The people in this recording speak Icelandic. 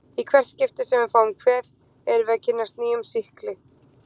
Í hvert skipti sem við fáum kvef erum við að kynnast nýjum sýkli.